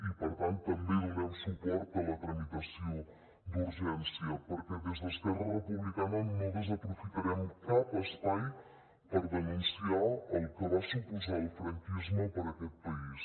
i per tant també donem suport a la tramitació d’urgència perquè des d’esquerra republicana no desaprofitarem cap espai per denunciar el que va suposar el franquisme per aquest país